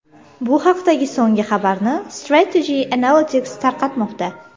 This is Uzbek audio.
Bu haqdagi so‘nggi xabarni Strategy Analytics tarqatmoqda.